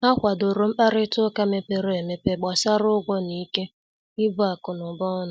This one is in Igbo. Ha kwàdòrò mkparịta ụka mepere emepe gbàsara ụgwọ na ikè ibu akụ̀nụba ọnụ.